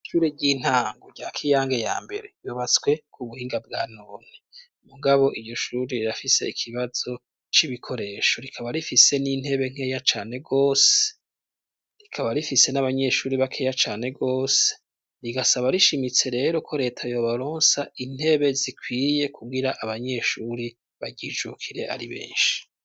Ishure ry'intango rya kiyange ya mbere ryubatswe kubuhinga bwa none .Mugabo iryo shuri rirafise ikibazo c'ibikoresho rikaba rifise n'intebe nkeya cane gose rikaba rifise n'abanyeshuri bakeya cane gose rigasaba rishimitse rero ko leta yobaronsa intebe zikwiye kubwira abanyeshuri baryijukire ari benshi.